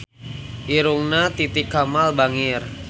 Irungna Titi Kamal bangir